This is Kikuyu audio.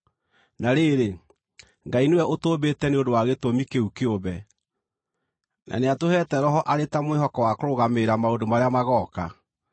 Na rĩrĩ, Ngai nĩwe ũtũmbĩte nĩ ũndũ wa gĩtũmi kĩu kĩũmbe, na nĩatũheete Roho arĩ ta mwĩhoko wa kũrũgamĩrĩra maũndũ marĩa magooka.